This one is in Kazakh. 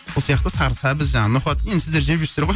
сол сияқты сары сәбіз жаңағы ноқат енді сіздер жеп жүрсіздер ғой